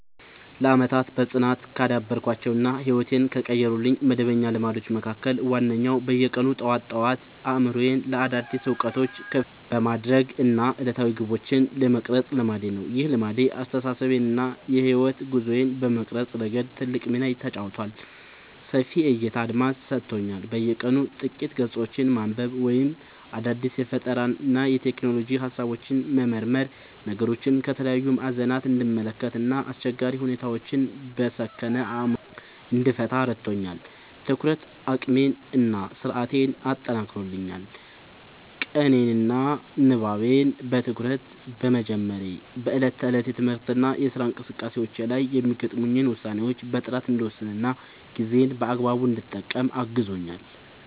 ለዓመታት በጽናት ካዳበርኳቸው እና ሕይወቴን ከቀየሩልኝ መደበኛ ልማዶች መካከል ዋነኛው በየቀኑ ጠዋት ጠዋት አእምሮዬን ለአዳዲስ እውቀቶች ክፍት የማድረግ እና ዕለታዊ ግቦቼን የመቅረጽ ልማዴ ነው። ይህ ልማድ አስተሳሰቤን እና የሕይወት ጉዞዬን በመቅረጽ ረገድ ትልቅ ሚና ተጫውቷል፦ ሰፊ የዕይታ አድማስ ሰጥቶኛል፦ በየቀኑ ጥቂት ገጾችን ማንበብ ወይም አዳዲስ የፈጠራና የሎጂክ ሃሳቦችን መመርመር ነገሮችን ከተለያዩ ማዕዘናት እንድመለከት እና አስቸጋሪ ሁኔታዎችን በሰከነ አእምሮ እንድፈታ ረድቶኛል። የትኩረት አቅሜን እና ስነ-ስርዓቴን አጠናክሯል፦ ቀኔን በንባብ እና በትኩረት በመጀመሬ በዕለት ተዕለት የትምህርትና የሥራ እንቅስቃሴዎቼ ላይ የሚገጥሙኝን ውሳኔዎች በጥራት እንድወስንና ጊዜዬን በአግባቡ እንድጠቀም አግዞኛል።